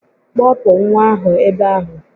Kpọpụ nwa ahụ ebe ahụ